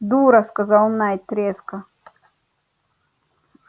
дура сказал найд резко